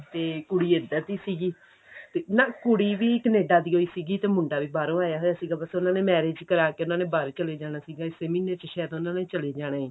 ਤੇ ਕੁੜੀ ਇੱਧਰ ਦੀ ਸੀਗੀ ਨਾ ਕੁੜੀ ਵੀ Canada ਦੀਓ ਹੀ ਸੀਗੀ ਤੇ ਮੁੰਡਾ ਵੀ ਬਾਹਰੋਂ ਆਇਆ ਆਇਗਾ ਤੇ ਬੱਸ ਉਹਨਾ ਨੇ marriage ਕਰਾਕੇ ਉਹਨਾ ਨੇ ਬਾਹਰ ਚਲੇ ਜਾਣਾ ਸੀਗਾ ਇਸ ਮਹੀਨੇ ਚ ਸ਼ਾਇਦ ਉਹਨਾ ਨੇ ਚਲੇ ਜਾਣਾ